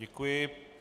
Děkuji.